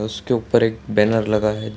उसके ऊपर एक बैनर लगा है।